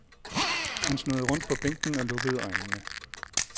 Han snurrede rundt på bænken og lukkede øjnene.